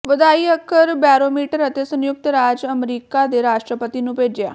ਵਧਾਈ ਅੱਖਰ ਬੌਰੋਮੀਟਰ ਅਤੇ ਸੰਯੁਕਤ ਰਾਜ ਅਮਰੀਕਾ ਦੇ ਰਾਸ਼ਟਰਪਤੀ ਨੂੰ ਭੇਜਿਆ